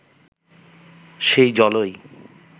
সেই জলই